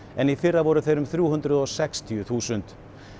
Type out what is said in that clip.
en í fyrra voru þeir um þrjú hundruð og sextíu þúsund